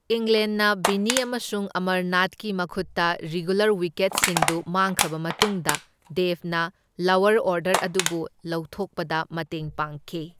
ꯏꯪꯂꯦꯟꯅ ꯕꯤꯟꯅꯤ ꯑꯃꯁꯨꯡ ꯑꯃꯔꯅꯥꯊꯀꯤ ꯃꯈꯨꯠꯇ ꯔꯤꯒꯨꯂꯔ ꯋꯤꯀꯦꯠꯁꯤꯡꯗꯨ ꯃꯥꯡꯈ꯭ꯔꯕ ꯃꯇꯨꯡꯗ ꯗꯦꯕꯅ ꯂꯋꯔ ꯑꯣꯔꯗꯔ ꯑꯗꯨꯕꯨ ꯂꯧꯊꯣꯛꯄꯗ ꯃꯇꯦꯡ ꯄꯥꯡꯈꯤ꯫